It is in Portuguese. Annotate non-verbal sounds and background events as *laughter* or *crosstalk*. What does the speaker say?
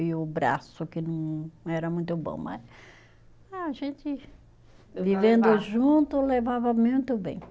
E o braço, que não era muito bom, mas a gente, *unintelligible* vivendo junto, levava muito bem.